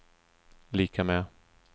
lika med